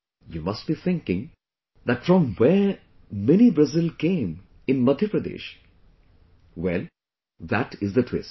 You must be thinking that from where Mini Brazil came in Madhya Pradesh, well, that is the twist